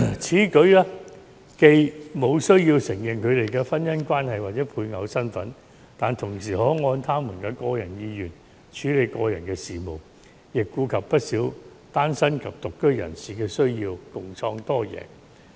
此舉既無須承認同性伴侶的婚姻關係或配偶身份，但同時可按他們的個人意願處理個人事務，亦顧及不少單身及獨居人士的需要，共創多贏局面。